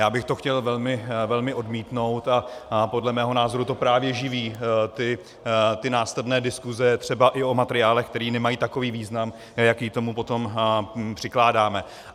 Já bych to chtěl velmi odmítnout a podle mého názoru to právě živí ty následné diskuse, třeba i o materiálech, které nemají takový význam, jaký tomu potom přikládáme.